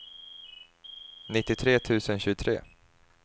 nittiotre tusen tjugotre